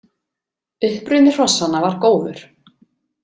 Uppruni hrossanna var góður.